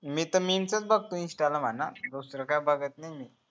मी त memes च बघतो insta ला